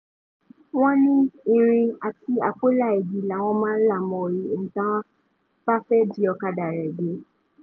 wọ́n ní irin àti àpòọlá igi làwọn máa ń là mọ́ táwọn bá fẹ́ jí ọ̀kadà rẹ̀ gbé